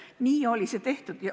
Nii oli see tehtud.